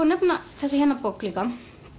nefna þessa hérna bók líka